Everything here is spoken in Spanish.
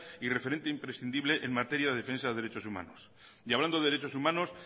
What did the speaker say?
y referente imprescindible en materia de defensa de derechos humanos y hablando de derechos humanos